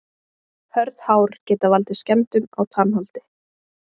Hörð hár geta valdið skemmdum á tannholdi.